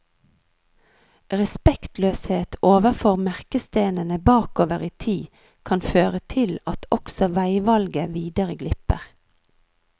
Respektløshet overfor merkestenene bakover i tid kan føre til at også veivalget videre glipper.